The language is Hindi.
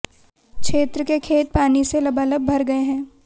क्षेत्र के खेत पानी से लबालब भर गये है